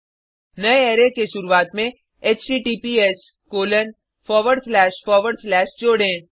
नये अरै के शुरुआत में https जोडें